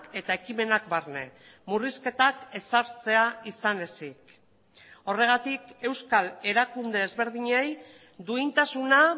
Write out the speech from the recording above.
eta ekimenak barne murrizketak ezartzea izan ezik horregatik euskal erakunde ezberdinei duintasuna